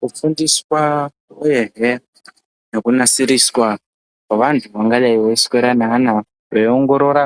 Kufundiswa uyezve nekunasirwa kwevantu vangadai veiswera neana veiongorora